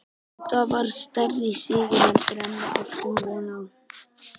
Þetta var stærri sigur heldur en við áttum von á.